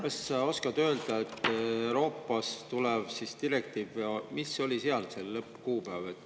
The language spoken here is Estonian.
Kas sa oskad öelda, et Euroopast tuleb siis direktiiv, mis oli seal selle lõppkuupäev?